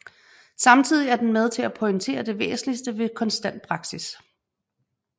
Samtidig er den med til at pointere det væsentlige ved konstant praksis